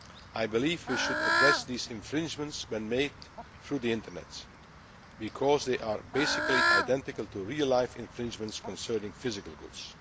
I believe we should address these infringements made through the Internet because they are basically identical to real life infringements concerning physical